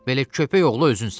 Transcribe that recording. Belə köpək oğlu özünsən.